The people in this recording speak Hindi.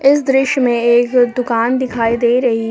इस दृश्य में एक दुकान दिखाई दे रही--